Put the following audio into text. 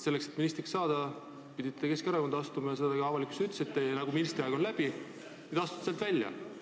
Et ministriks saada, pidite ju Keskerakonda astuma ja seda te avalikkuses ka ütlesite, et kui ministriaeg on läbi, siis astute sealt välja.